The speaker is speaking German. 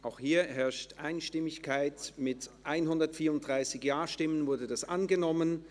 Sie haben den Antrag mit Auflage einstimmig angenommen, mit 134 Ja- gegen 0 NeinStimmen bei 0 Enthaltungen.